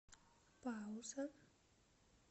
пауза